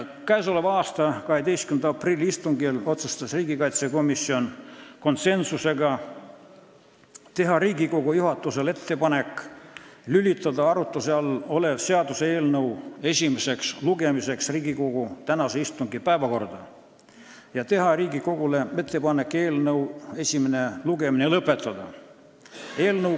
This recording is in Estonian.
Käesoleva aasta 12. aprilli istungil otsustas riigikaitsekomisjon konsensusega teha Riigikogu juhatusele ettepaneku lülitada arutluse all olev seaduseelnõu esimeseks lugemiseks Riigikogu tänase istungi päevakorda ja teha Riigikogule ettepaneku eelnõu esimene lugemine lõpetada.